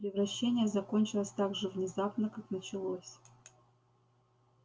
превращение закончилось так же внезапно как началось